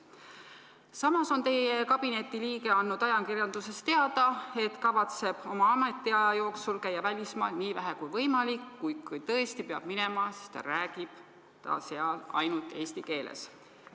Samas on teie kabineti liige andnud ajakirjanduses teada, et kavatseb oma ametiaja jooksul käia välismaal nii vähe kui võimalik, kuid kui tõesti peab minema, siis ta räägib seal ainult eesti keeles.